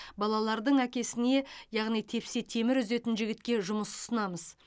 балалардың әкесіне яғни тепсе темір үзетін жігітке жұмыс ұсынамыз